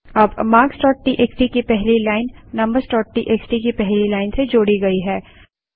अब marksटीएक्सटी की पहली लाइन numbersटीएक्सटी की पहली लाइन से जोड़ी गई है